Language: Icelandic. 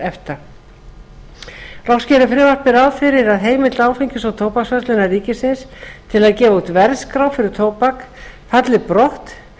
efta loks gerir frumvarpið ráð fyrir að heimild áfengis og tóbaksverslunar ríkisins til að gefa út verðskrá fyrir tóbak falli brott